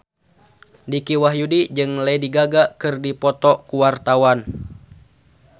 Dicky Wahyudi jeung Lady Gaga keur dipoto ku wartawan